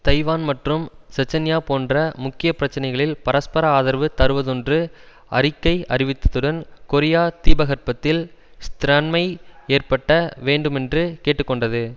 Taiwan மற்றும் Chechnya போன்ற முக்கிய பிரச்சனைகளில் பரஸ்பர ஆதரவு தருவதொன்று அறிக்கை அறிவித்ததுடன் கொரிய தீபகற்பத்தில் ஸ்த்ரத்தன்மை ஏற்பட்ட வேண்டுமென்று கேட்டு கொண்டது